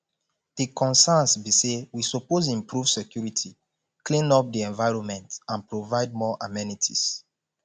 di concerns be say we suppose improve security clean up di environment and provide more amenities